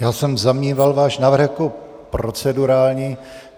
Já jsem zavnímal váš návrh jako procedurální.